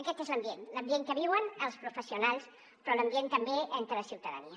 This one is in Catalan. aquest és l’ambient l’ambient que viuen els professionals però l’ambient també entre la ciutadania